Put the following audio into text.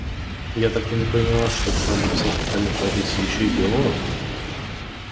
я так и не поняла что кроме всех остальных профессий ещё и биолог